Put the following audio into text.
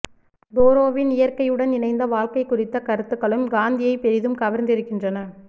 தோரோவின் இய்ற்கையுடன் இணைந்த வாழ்க்கை குறித்த கருத்துக்களும் காந்தியை பெரிதும் கவர்ந்திருக்கின்றன